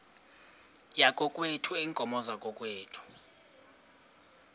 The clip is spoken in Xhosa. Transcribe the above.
yakokwethu iinkomo zakokwethu